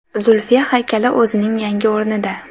Zulfiya haykali o‘zining yangi o‘rnida.